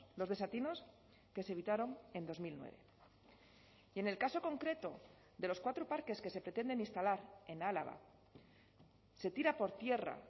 los desatinos que se evitaron en dos mil nueve y en el caso concreto de los cuatro parques que se pretenden instalar en álava se tira por tierra